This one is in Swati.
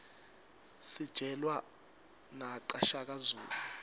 sijelwa naqa shaka zulu